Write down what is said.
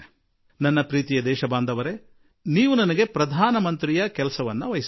ನನ್ನ ಪ್ರೀತಿಯ ದೇಶವಾಸಿಗಳೇ ನೀವೇನೋ ನನಗೆ ಪ್ರಧಾನಮಂತ್ರಿಯ ಕೆಲಸ ಕೊಟ್ಟಿದ್ದೀರಿ